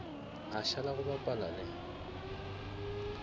a šala go bapa le